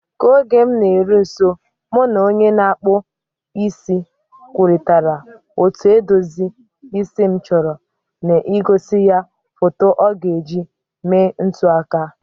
Ka oge m na-eru nso, mụ na onye na-akpụ isi m kwurịtara otú edozi isi m chọrọ, na-egosi ya foto ọ ga-eji mee ntụaka.